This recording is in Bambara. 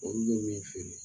Olu be bee feere